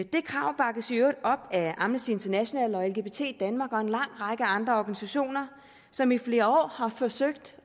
det krav bakkes i øvrigt op af amnesty international og lgbt danmark og en lang række andre organisationer som i flere år har forsøgt